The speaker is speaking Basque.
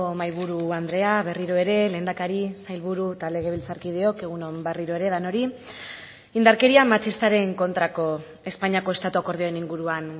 mahaiburu andrea berriro ere lehendakari sailburu eta legebiltzarkideok egun on berriro ere denoi indarkeria matxistaren kontrako espainiako estatu akordioen inguruan